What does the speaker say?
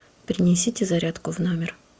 принесите зарядку в номер